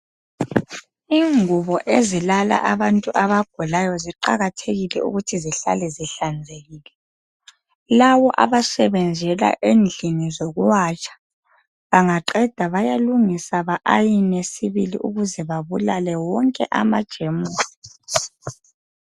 Ingubo ezilala abantu abagulayo ziqakathekile ukuthi zihlale zihlanzekile .Labo abasebenzela endlini zokuwatsha bangaqeda bayalungisa ba ayine sibili ukuze babulale wonke amajemusi .